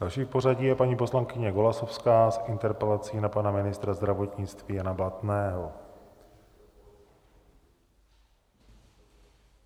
Další v pořadí je paní poslankyně Golasowská s interpelací na pana ministra zdravotnictví Jana Blatného.